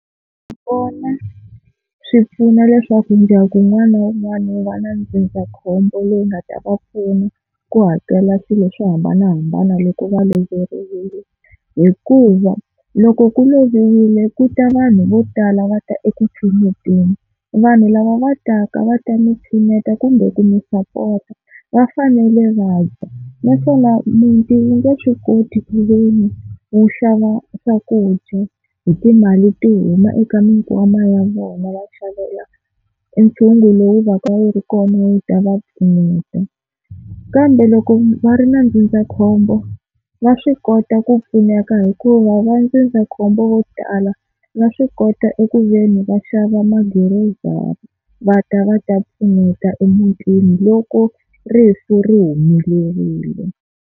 Kona swi pfuna leswaku ndyangu wun'wana na wun'wana wu va na ndzindzakhombo leyi nga ta va pfuna ku hakela swilo swo hambanahambana loko va loveriwile, hikuva loko ku loviwile ku ta vanhu vo tala va ta eku pfuneteni. Vanhu lava va taka va ta mi pfuneta kumbe ku mi sapota va fanele va dya, naswona muti wu nge swi koti ku veni wu xava swakudya hi timali to huma eka mikwama ya vona va xavela ntshungu lowu va ka wu ri kona wu ta va pfuneta. Kambe loko va ri na ndzindzakhombo va swi kota ku pfuneka hikuva va ndzindzakhombo vo tala va swi kota eku veni va xava magirozari va ta va ta pfuneta emutini loko rifu ri humelerile.